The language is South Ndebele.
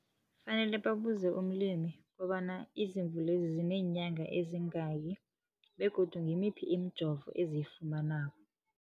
Fanele babuze umlimi kobana izimvu lezi zineenyanga eziyingaki begodu ngimiphi imijovo eziyifumanako.